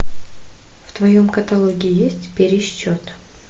в твоем каталоге есть пересчет